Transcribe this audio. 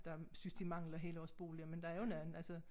Der synes de mangler helårsboliger men der er jo nogen